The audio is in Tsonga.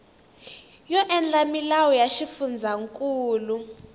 yo endla milawu ya xifundzankulu